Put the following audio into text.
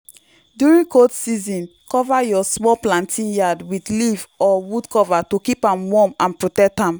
during cold season cover your small planting yard with leaf or wood cover to keep am warm and protect am